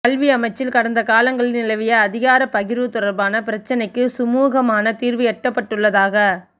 கல்வி அமைச்சில் கடந்த காலங்களில் நிலவிய அதிகார பகிர்வு தொடர்பான பிரச்சினைக்கு சுமுகமான தீர்வு எட்டப்பட்டுள்ளதாக